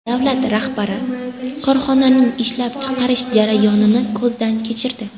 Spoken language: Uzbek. Davlat rahbari korxonaning ishlab chiqarish jarayonini ko‘zdan kechirdi.